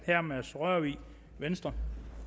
herre mads rørvig venstre